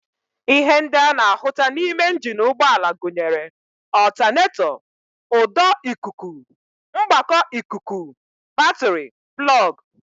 Ihe ndị a na-ahụta n'ime njini ụgbọala gụnyere ọltanetọ, ụdọ ikuku, mgbakọ ikuku, batịrị, plọg